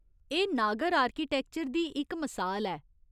एह् नागर आर्किटैक्चर दी इक मसाल ऐ।